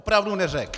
Opravdu neřekl.